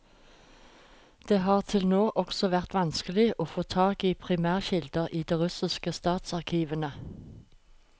Det har til nå også vært vanskelig å få tak i primærkilder i de russiske statsarkivene.